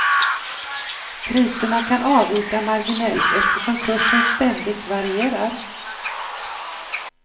Priserna kan avvika marginellt eftersom kursen ständigt varierar.